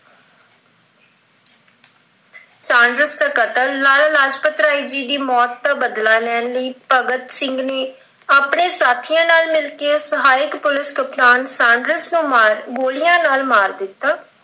Saunders ਦਾ ਕਤਲ, ਲਾਲਾ ਲਾਜਪਤ ਰਾਏ ਜੀ ਦੀ ਮੌਤ ਦਾ ਬਦਲਾ ਲੈਣ ਲਈ ਭਗਤ ਸਿੰਘ ਨੇ ਆਪਣੇ ਸਾਥੀਆਂ ਨਾਲ ਮਿਲ ਕਿ ਸਹਾਇਕ ਪੁਲਿਸ ਕਪਤਾਨ Saunders ਨੂੰ ਮਾਰ ਅਹ ਗੋਲਿਆਂ ਨਾਲ ਮਾਰ ਦਿੱਤਾ।